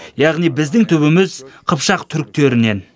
яғни біздің түбіміз қыпшақ түріктерінен